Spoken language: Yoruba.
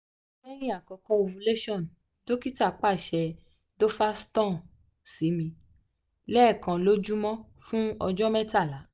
lẹhin akoko ovulation dokita paṣẹ duphaston si mi lẹẹkan lojumọ fun ọjọ mẹtala